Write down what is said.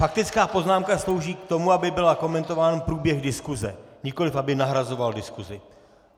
Faktická poznámka slouží k tomu, aby byl komentován průběh diskuse, nikoliv aby nahrazovala diskusi.